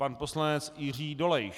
Pan poslanec Jiří Dolejš.